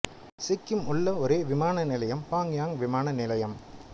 சிக்கிம் உள்ள ஒரே விமானம் நிலையம் பாக்யாங் விமான நிலையம்